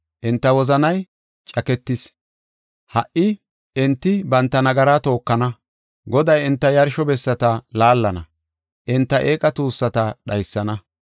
Enta wozanay caaketis; ha77i enti banta nagaraa tookana. Goday enta yarsho bessata laallana; enta eeqa tuussata dhaysana.